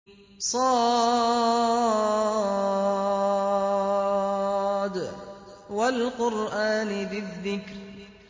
ص ۚ وَالْقُرْآنِ ذِي الذِّكْرِ